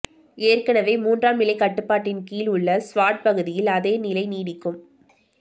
ஏற்கனவே மூன்றாம் நிலை கட்டுப்பாட்டின் கீழ் உள்ள ஸ்வாட் பகுதியில் அதே நிலை நீடிக்கு